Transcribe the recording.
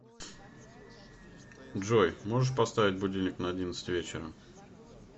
джой можешь поставить будильник на одиннадцать вечера